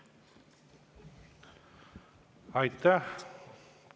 Aitäh!